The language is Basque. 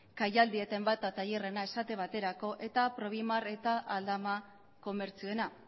kai aldi eta enbata tailerrena esate baterako eta eta aldama komertzioena